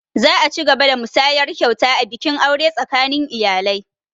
Za a cigaba da musayar kyauta a bikin aure tsakanin iyalai